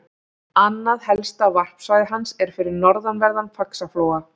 Annað helsta varpsvæði hans er við norðanverðan Faxaflóa.